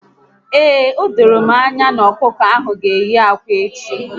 Ee, odoro m anya na ọkụkọ ahụ g'eyi akwa echi